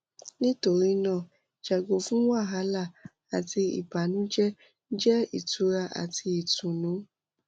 nitorina yago fun wahala ati ibanujẹ jẹ itura ati itunu